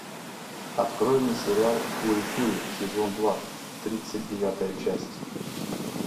открой мне сериал фури кури сезон два тридцать девятая часть